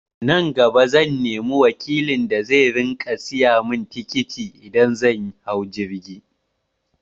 Nan gaba zan nemi wakilin da zai riƙa saya mun tikiti idan zan hau jirgi